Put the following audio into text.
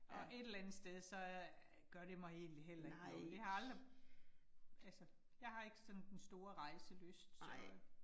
Og et eller andet sted så øh gør det mig egentlig heller ikke noget. Jeg har aldrig, altså jeg har ikke sådan den store rejselyst så øh